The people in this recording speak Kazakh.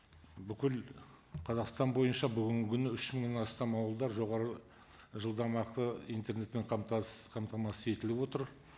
бүкіл қазақстан бойынша бүгінгі күні үш мыңнан астам ауылдар жоғары жылдамақы интернетпен қамтамасыз етіліп отыр